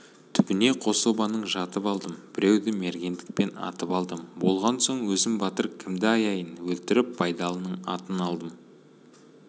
түбіне қособаның жатып алдым біреуді мергендікпен атып алдым болған соң өзім батыр кімді аяйын өлтіріп байдалының атын алдым